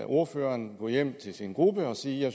ordføreren gå hjem til sin gruppe og sige at